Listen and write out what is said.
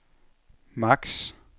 maks